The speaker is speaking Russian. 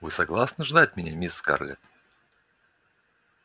вы согласны ждать меня мисс скарлетт